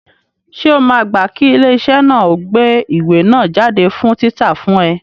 Ṣé o máa gbá kí ilé iṣẹ́ náà ó gbé ìwé náà jáde fún títa fún ẹ?